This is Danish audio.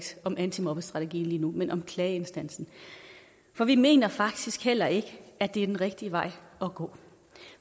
om antimobbestrategien lige nu men om klageinstansen for vi mener faktisk heller ikke at det er den rigtige vej at gå